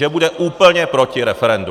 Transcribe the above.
Že bude úplně proti referendu.